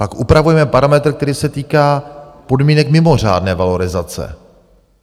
Pak upravujeme parametr, který se týká podmínek mimořádné valorizace.